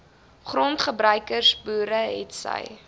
grondgebruikers boere hetsy